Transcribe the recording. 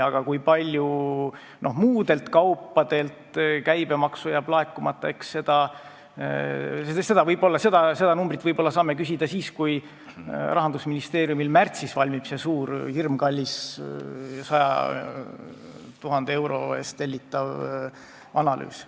Aga kui palju muudelt kaupadelt jääb käibemaksu laekumata, seda saame võib-olla küsida siis, kui Rahandusministeeriumil märtsis valmib see suur ja hirmkallis, 100 000 euro eest tellitav analüüs.